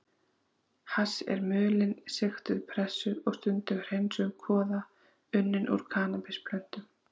Hass er mulin, sigtuð, pressuð og stundum hreinsuð kvoða unnin úr kannabisplöntum.